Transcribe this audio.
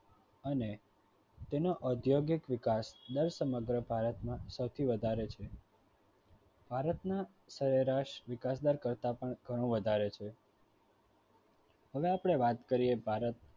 અને તેનો અધ્યાગિક વિકાસ દર સમગ્ર ભારતમાં સૌથી વધારે છે. ભારતના વિકાસદર કરતા પણ ઘણો વધારે છે હવે અપડે વાત કર્યે ભારત